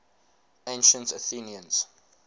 ancient athenians